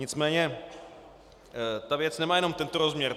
Nicméně ta věc nemá jen tento rozměr.